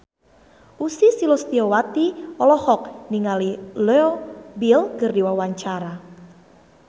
Ussy Sulistyawati olohok ningali Leo Bill keur diwawancara